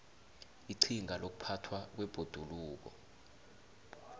iqhinga lokuphathwa kwebhoduluko